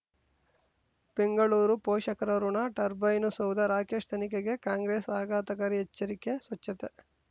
ಬೆಂಗಳೂರು ಪೋಷಕರಋಣ ಟರ್ಬೈನು ಸೌಧ ರಾಕೇಶ್ ತನಿಖೆಗೆ ಕಾಂಗ್ರೆಸ್ ಆಘಾತಕಾರಿ ಎಚ್ಚರಿಕೆ ಸ್ವಚ್ಛತೆ